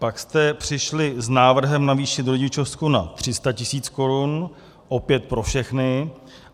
Pak jste přišli s návrhem navýšit rodičovskou na 300 tis. korun - opět pro všechny.